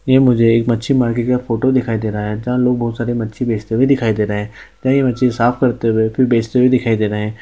ये मुझे एक मच्छी मार्केट का फोटो दिखाई दे रहा है जहाँ लोग बहोत सारी मच्छी बेचते हुए दिखाई दे रहे है कहीं मच्छी साफ करते हुए फिर बेचते हुए दिखाई दे रहे हैं।